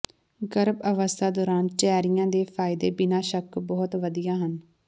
ਗਰਭ ਅਵਸਥਾ ਦੌਰਾਨ ਚੈਰੀਆਂ ਦੇ ਫਾਇਦੇ ਬਿਨਾਂ ਸ਼ੱਕ ਬਹੁਤ ਵਧੀਆ ਹਨ